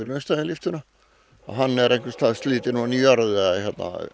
austan við lyftuna hann er einhvers staðar slitinn ofan í jörð eða